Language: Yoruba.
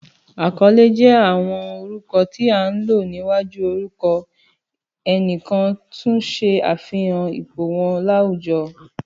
Àkọ́lé jé àwọn orúkọ tí án lò níwájú orúkọ ẹnìkan, tun ṣe àfihàn ipò wọn láwùjọ